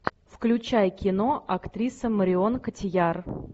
включай кино актриса марион котийяр